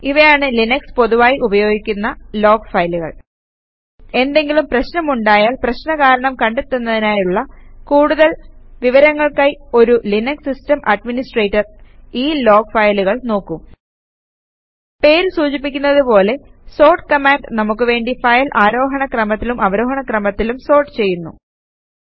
ഇവയാണ് ലിനക്സിൽ പൊതുവായി ഉപയോഗിയ്ക്കുന്ന ലോഗ് ഫയലുകൾ എന്തെങ്കിലും പ്രശ്നമുണ്ടായാൽ പ്രശ്ന കാരണം കണ്ടെത്തുന്നതിനായുള്ള കൂടുതൽ വിവരങ്ങൾക്കായി ഒരു ലിനക്സ് സിസ്റ്റം അഡ്മിനിസ്ട്രേറ്റർ ഈ ലോഗ് ഫയലുകൾ നോക്കും പേര് സൂചിപ്പിക്കുന്നത് പോലെ സോർട്ട് കമാൻഡ് നമുക്ക് വേണ്ടി ഫയൽ ആരോഹണ ക്രമത്തിലും അവരോഹണ ക്രമത്തിലും സോർട്ട് ചെയ്യുന്നു